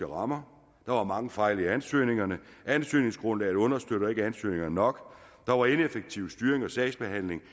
rammer der var mange fejl i ansøgningerne ansøgningsgrundlaget understøttede ikke ansøgningerne nok der var ineffektiv styring af sagsbehandlingen